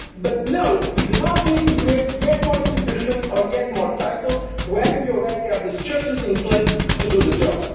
more frequently. But no, we do not need to create yet more institutions or yet more titles, when we already have the structures in place